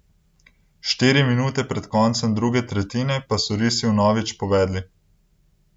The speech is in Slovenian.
Štiri minute pred koncem druge tretjine pa so risi vnovič povedli.